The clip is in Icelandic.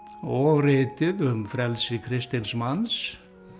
og ritið um frelsi kristins manns